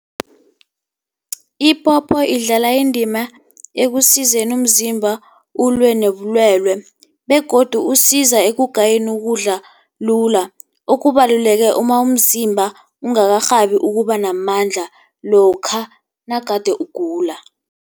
Ipopo idlala indima ekusizeni umzimba ulwe nobulwele begodu usiza ekugayeni ukudla lula. Okubaluleke uma umzimba ungakarhabi ukuba namandla lokha nagade ugula.